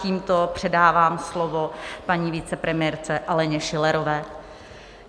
Tímto předávám slovo paní vicepremiérce Aleně Schillerové.